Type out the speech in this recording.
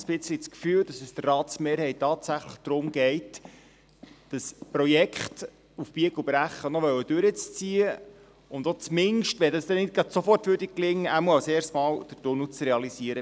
Ich habe langsam fast das Gefühl, dass es der Ratsmehrheit tatsächlich darum geht, das Projekt auf Biegen und Brechen noch durchziehen zu wollen und zumindest – wenn dies nicht sofort gelingen sollte – als Erstes den Tunnel bei Port zu realisieren.